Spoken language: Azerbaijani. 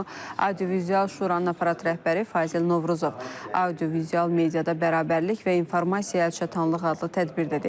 Bunu audiovizual Şuranın aparat rəhbəri Fazil Novruzov audiovizual mediada bərabərlik və informasiya əlçatanlığı adlı tədbirdə deyib.